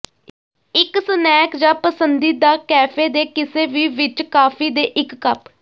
ਇੱਕ ਸਨੈਕ ਜ ਪਸੰਦੀਦਾ ਕੈਫ਼ੇ ਦੇ ਕਿਸੇ ਵੀ ਵਿੱਚ ਕਾਫੀ ਦੇ ਇੱਕ ਕੱਪ